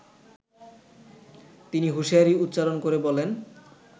তিনি হুশিয়ারী উচ্চারন করে বলেন